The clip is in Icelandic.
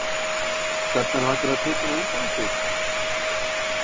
Stefnan væntanlega tekin á undanúrslit?